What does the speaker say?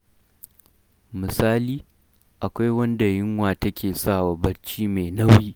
Misali, akwai wanda yunwa take sa wa barci mai nauyi.